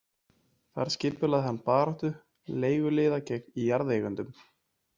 Þar skipulagði hann baráttu leiguliða gegn jarðeigendum.